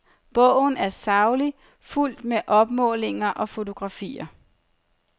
Bogen er saglig, fuldt med opmålinger og fotografier.